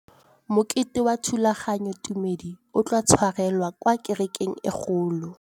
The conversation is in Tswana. Mokete wa thulaganyôtumêdi o tla tshwarelwa kwa kerekeng e kgolo.